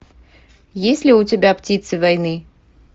есть ли у тебя птицы войны